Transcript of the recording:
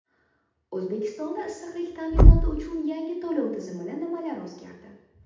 O‘zbekistonda issiqlik ta’minoti uchun yangi to‘lov tizimida nimalar o‘zgardi?.